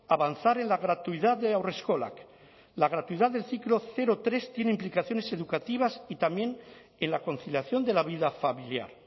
avanzar en la gratuidad de haurreskolak la gratuidad del ciclo cero tres tiene implicaciones educativas y también en la conciliación de la vida familiar